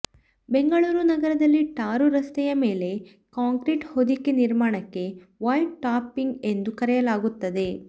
ಬೆಂಗಳೂರು ನಗರದಲ್ಲಿ ಟಾರು ರಸ್ತೆಯ ಮೇಲೆ ಕಾಂಕ್ರಿಟ್ ಹೊದಿಕೆ ನಿರ್ಮಾಣಕ್ಕೆ ವೈಟ್ ಟಾಪಿಂಗ್ ಎಂದು ಕರೆಯಲಾಗುತ್ತದೆ